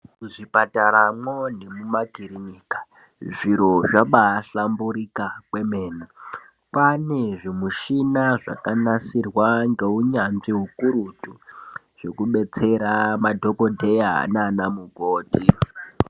Mu zvipatara mwo ne muma kirinika zviro zvabai hlamburika kwemene kwane zvi mushina zvaka nasirwa nge unyanzvi ukurutu zveku betsera madhokodheya nana mukoti.